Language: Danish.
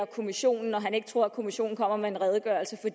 kommissionen når han ikke tror at kommissionen kommer med en redegørelse